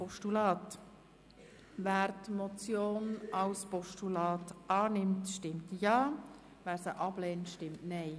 Wer die Motion als Postulat annimmt, stimmt Ja, wer dies ablehnt, stimmt Nein.